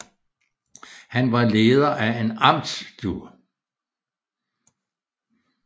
Han var leder af en amtstue